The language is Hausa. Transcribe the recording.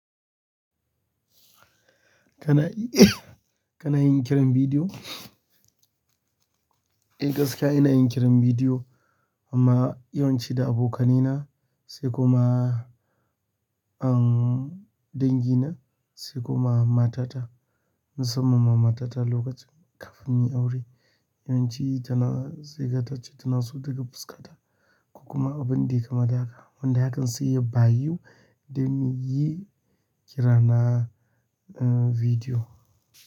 Kana yi kana yin kiran bidiyo? Eh gaskiya ina yin kiran bidiyo amma yawanci da abokaina sai kuma an dangi na sai kuma matata musamman ma matata lokacin kafin mu yi aure. Yawanci tana sai ga tace tana so daga fuskata kuma abin da yai kama daka. Wanda hakan sai ya bayu da mu yi kira na eh bidiyo.